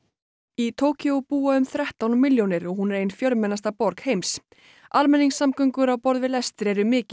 í Tókýó búa um þrettán milljónir og hún er ein fjölmennasta borg heims almenningssamgöngur á borð við lestir eru mikið